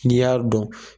N'i y'a dɔn